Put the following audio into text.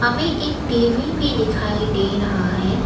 हमें एक टी_वी भी दिखाई दे रहा है।